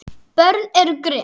Börn eru grimm.